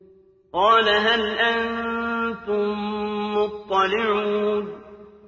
قَالَ هَلْ أَنتُم مُّطَّلِعُونَ